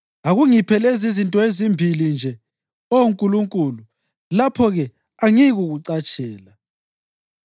Akungiphe lezizinto ezimbili nje, Oh Nkulunkulu, lapho-ke angiyikukucatshela: